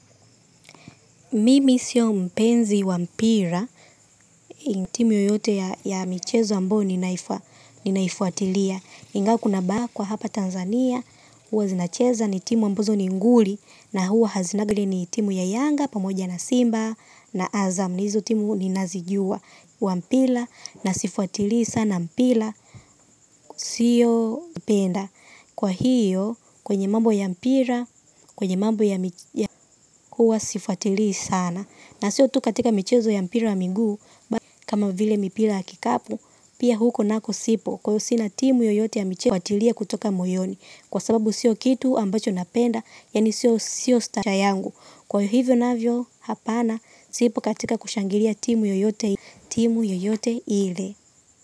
Mimi sio mpenzi wa mpira, timu yoyote ya michezo ambayo ninaifuatilia. Ingawa kuna bakwa kwa hapa Tanzania, huwa zinacheza ni timu ambazo ni nguli, na huwa hazinanga hili ni timu ya iyanga, pamoja na simba, na azam, na hizo timu ninazijua. Wa mpira, na sifuatilii sana mpira, siyo penda. Kwa hiyo, kwenye mambo ya mpira, kwenye mambo ya michezo, huwa sifuatilii sana. Na siyo tu katika michezo ya mpira wa miguu kama vile mipira ya kikapu pia huko nako sipo kwa hiyo sina timu yoyote ya michezo kufuatilia kutoka moyoni kwa sababu siyo kitu ambacho napenda yaani siyo siyo stara yangu. Kwa hivyo navyo hapana sipo katika kushangilia timu yeyote ile.